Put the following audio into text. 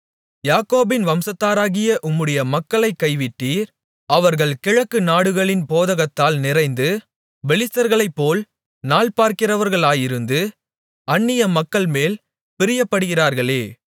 யாக்கோபின் வம்சத்தாராகிய உம்முடைய மக்களைக் கைவிட்டீர் அவர்கள் கிழக்குத் நாடுகளின் போதகத்தால் நிறைந்து பெலிஸ்தர்களைப்போல் நாள்பார்க்கிறவர்களாயிருந்து அந்நிய மக்கள்மேல் பிரியப்படுகிறார்களே